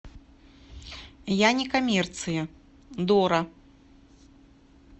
я не коммерция дора